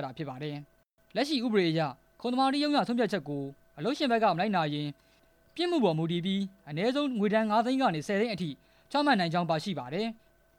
တာဖြစ်ပါတယ်။ အဲ့ဒီဥပဒေမှာ ခုံသမာဓိကောင်စီက ဆုံးဖြတ်ချက်တွေကို မလိုက်နာရင် ပြစ်မှုအပေါ် မူတည်ပြီးအနည်း ဆုံး ငွေဒဏ်ငါးသိန်းကနေ ဆယ်သိန်းအထိ ချမှတ်နိုင်ကြောင်း ပါရှိပါတယ်။